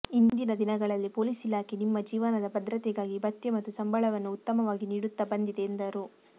ಇಂದಿನ ದಿನಗಳಲ್ಲಿ ಪೊಲೀಸ್ ಇಲಾಖೆ ನಿಮ್ಮ ಜೀವನದ ಭದ್ರತೆಗಾಗಿ ಭತ್ಯೆ ಮತ್ತು ಸಂಬಳವನ್ನು ಉತ್ತಮವಾಗಿ ನೀಡುತ್ತಾ ಬಂದಿದೆ ಎಂದರು